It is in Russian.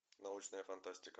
научная фантастика